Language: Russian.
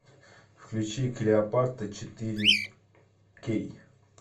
включи клеопатра четыре кей